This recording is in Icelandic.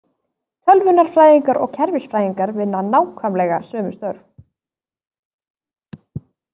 Tölvunarfræðingar og kerfisfræðingar vinna nákvæmlega sömu störf.